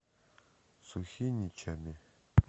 сухиничами